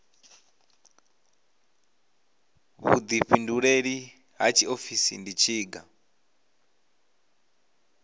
vhuḓifhinduleli ha tshiofisi ndi tshiga